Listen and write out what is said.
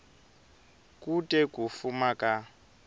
ku te ku fuma ka